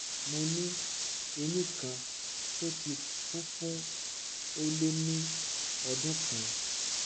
mo ní eyín kan tó ti kú fún ó lé ní ọdún kan